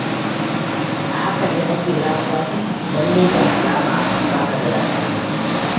A hakan ne ake zafi-zafi? Lallai ga alama ba ka da lafiya.